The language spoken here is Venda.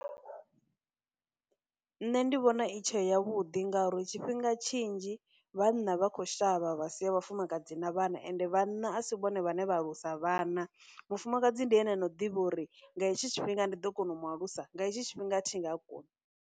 Nṋe ndi vhona i tshe ya vhuḓi ngauri tshifhinga tshinzhi vhanna vha khou shavha vha sia vhafumakadzi na vhana ende vhana a si vhone vhae vha alusa vhana, mufumakadzi ndi ene no ḓivha uri nga hetshi tshifhinga ndi ḓo kona u mu alusa, nga hetshi tshifhinga thi nga koni.